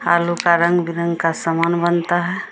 आलू का रंग-बिरंग का सामन बनता हैं।